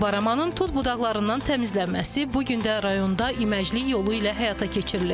Baramanın tut budaqlarından təmizlənməsi bu gün də rayonda iməcilik yolu ilə həyata keçirilir.